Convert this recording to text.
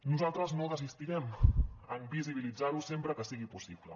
nosaltres no desistirem en visibilitzarho sempre que sigui possible